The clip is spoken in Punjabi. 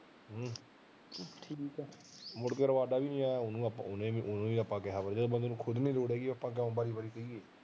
ਮੁੜ ਕਿ ਵੀ ਨੀ ਆਇਆ ਉਹਨੂੰ ਉਹਨੂੰ ਆਪਾ ਕਿਉਂ ਉਹਨੂੰ ਖੁਦ ਨੂੰ ਲੋੜ ਨੀ ਹੈਗੀ ਆਪਾਂ ਕਿਉਂ ਬਾਰੀ ਬਾਰੀ ਕਹੀਏ